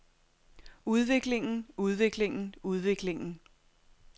udviklingen udviklingen udviklingen